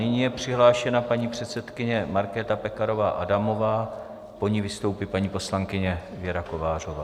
Nyní je přihlášena paní předsedkyně Markéta Pekarová Adamová, po ní vystoupí paní poslankyně Věra Kovářová.